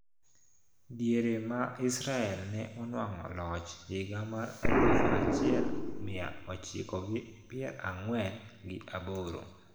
Diere ma Israel ne onwang`o loch higa mar aluf achiel mia ochiko gi pier ang`wen gi aboro.